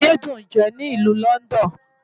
Ayé dùn ń jẹ ní ìlú London.